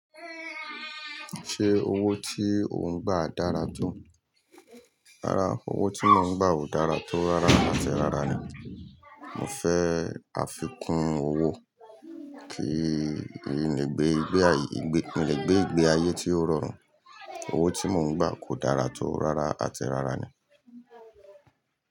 Ṣé owó tí ò ń gbà dára tó? Rárá, owó tí mò ń gbà ò dára tó, rárá àti rárá ni. Mo fẹ́ àfikún owó kí n lè gbé ìgbé ayé tí ó rọrùn. Owó tí mò ń gbà kò dára tó, rárá àti rárá ni.